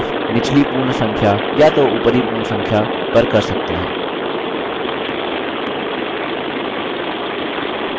rounding off निचली पूर्ण संख्या या तो ऊपरी पूर्ण संख्या पर कर सकते हैं